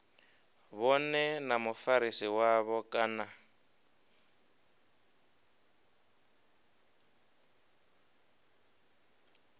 vhone na mufarisi wavho kana